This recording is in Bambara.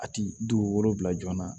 A ti dugukolo bila joona